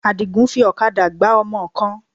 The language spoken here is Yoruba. Àdìgún fi ọ̀kadà gbá ọmọ kan.